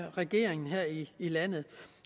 regeringen her i landet